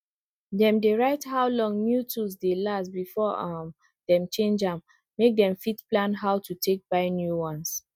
dem diy write how long new tools dey last before um dem change am make dem fit plan how to take buy new ones